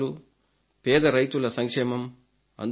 గ్రామాలు పేద రైతుల సంక్షేమం